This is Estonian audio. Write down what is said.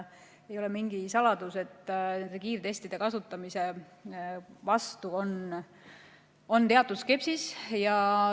Ei ole mingi saladus, et kiirtestide kasutamise suhtes tuntakse teatud skepsist.